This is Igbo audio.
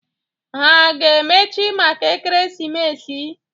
Ha a ga-emechi maka ekeresimesi?